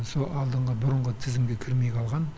сол алдыңғы бұрынғы тізімге кірмей қалған